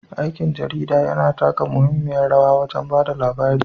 Aikin jarida yana taka muhimmiyar rawa wajen ba da labari.